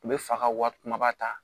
U bɛ fa ka wari kumaba ta